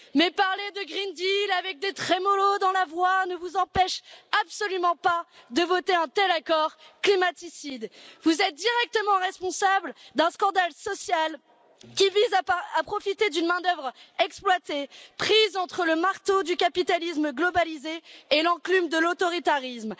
Mais parler de pacte vert avec des trémolos dans la voix ne vous empêche absolument pas de voter un tel accord, climaticide. Vous êtes directement responsables d'un scandale social qui vise à profiter d'une main d'œuvre exploitée, prise entre le marteau du capitalisme globalisé et l'enclume de l'autoritarisme.